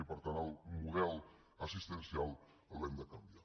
i per tant el model assistencial l’hem de canviar